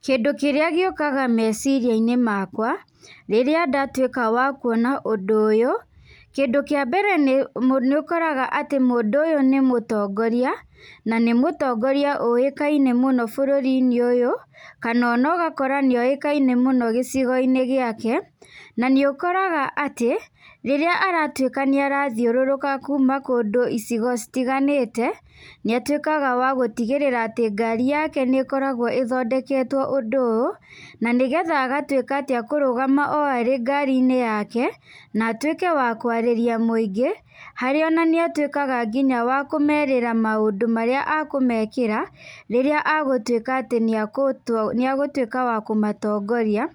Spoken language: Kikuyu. Kĩndũ kĩrĩa gĩũkaga meciria-inĩ makwa, rĩrĩa ndatuĩka wa kuona ũndũ ũyũ, kĩndũ kĩa mbere nĩ mũ ũkoraga atĩ mũndũ ũyũ nĩ mũtongoria, na nĩ mũtongoria ũĩkaine mũno bũrũri-inĩ ũyũ, kana ona ũgakora nĩoĩkaine mũno gĩcigo-inĩ gĩake, na nĩ ũkoraga atĩ rĩrĩa aratuĩka nĩ arathiũrũrũka kuuma kũndũ icigo citiganĩte, nĩatuĩkaga wagũtigĩrĩra atĩ ngari yake nĩkoragwo ĩthondeketwo ũndũ ũũ, na nĩgetha agatuĩka atĩ ekũrũgama o arĩ ngari-inĩ yake, na atuĩke wa kwarĩria mũingĩ, harĩa ona nĩ atuĩkaga nginya wa kũmerĩra maũnd ũ marĩa akũmekĩra, rĩrĩa egũtuĩka atĩ nĩ ekuto nĩ egũtuĩka wa kũmatongoria,